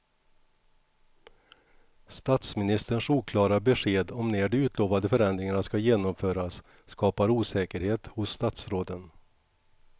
Statsministerns oklara besked om när de utlovade förändringarna ska genomföras skapar osäkerhet hos statsråden.